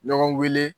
Ɲɔgɔn weele